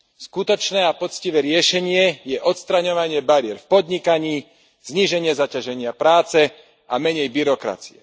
Skutočné a poctivé riešenie je odstraňovanie bariér v podnikaní, zníženie zaťaženia práce a menej byrokracie.